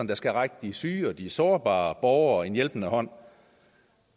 der skal række de syge og de sårbare borgere en hjælpende hånd